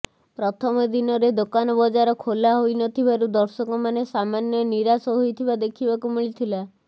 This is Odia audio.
ପ୍ରଥମ ଦିନରେ ଦୋକାନ ବଜାର ଖୋଲାହୋଇ ନଥିବାରୁ ଦର୍ଶକମାନେ ସାମାନ୍ୟ ନିରାଶ ହୋଇଥିବା ଦେଖିବାକୁ ମିଳିଥିଲା